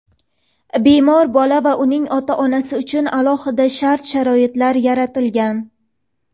Bemor bola va uning ota-onasi uchun alohida shart-sharoitlar yaratilgan.